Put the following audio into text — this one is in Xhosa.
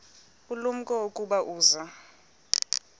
ulumko ukuba uza